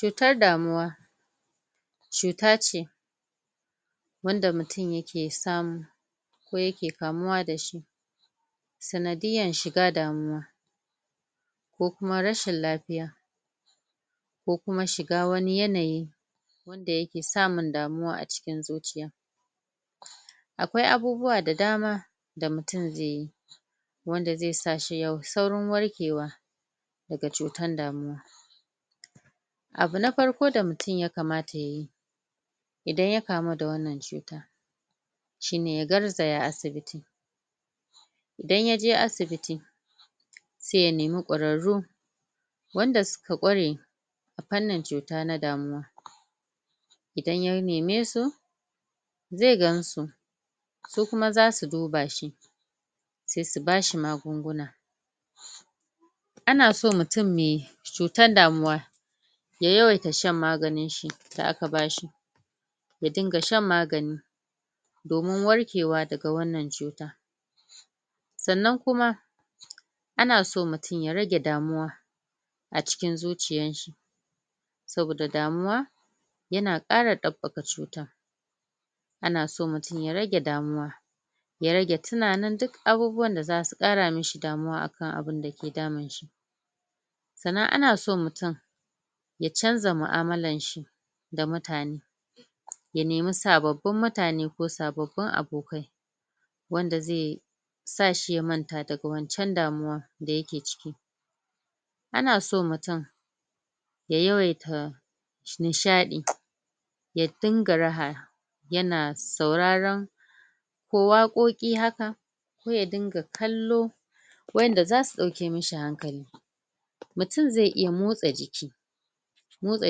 Cutar damuwa cuta ce wanda mutum yake samu ko yake kamuwa da shi sanadiyan shiga damuwa ko kuma rashin lafiya ko kuma shiga wani yanayi wanda yake samun damuwa a cikin zuciya akwai abubuwa da dama da mutum zai yi wanda zai sa shi saurin warkewa daga cutan damuwa abu na farko da mutum yakamata yayi idan ya kamu da wannan cutan shine ya garzaya asibiti idan yaje asibiti sai ya nima ƙwararru wanda suka ƙware da fannin cuta na damuwan idan ya nime su zai gansu su kuma zasu duba shi sai su bashi magunguna ana so mutum meh cutan damuwa ya yawaita sha maganin shi da aka bashi ya dinga sha magani domin warkewa daga wannan cutan sannan kuma ana so mutum ya rage damuwa a cikin zuciyan shi saboda damuwa yana kara ɗabɓaka cutan anaso mutum ya rage damuwa ya rage tunanin duk abubuwan da zasu kara mishi damuwa akan abun da ke damun shi sannan ana son mutum ya canza mu'amalan shi da mutane ya nemi sababbin mutane ko sababbin abokai wanda ze sa shi ya manta daga wancan damuwan da yake ciki ana so mutum ya yawaita nishaɗi ya dinga yana sauraran ko wakoki haka ko ya dinga kallo wa'en dazasu dauke mishi hankali mutum zai iya motsa jiki motsa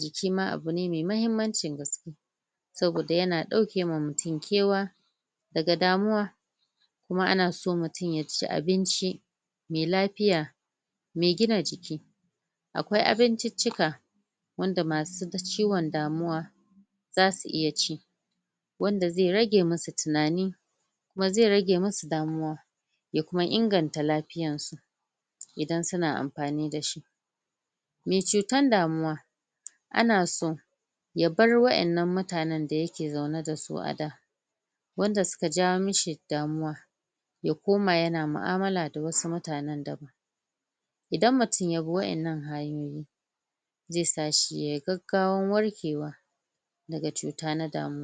jiki abu ne mai mahimmancin gaske saboda yana dauke ma mutum kewa daga damuwa kuma ana so mutum ya ci abinci mai lafiya mai gina jiki akwai abincicika wanda masu ciwon damuwa zasu iya ci wanda zai rage musu tunani kuma zai rage musu damuwa ya kuma inganta lafiyan su idan suna amfani da shi meh cutan damuwa ana so ya bar wa'ennan mutanen da yake zaune da su a gida wanda suka jawo mishi damuwa ya koma yana mu'amala da wasu mutanen daban idan mutum ya bi wa'ennan hanyoyi zai sa shi yayi gaggawan warkewa daga cuta na damuwa